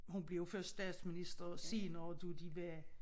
Hun blev jo først statsminister senere da de var